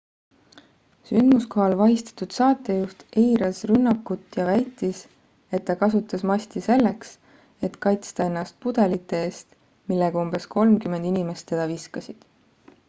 sündmuskohal vahistatud saatejuht eitas rünnakut ja väitis et ta kasutas masti selleks et kaitsta ennast pudelite eest millega umbes kolmkümmend inimest teda viskasid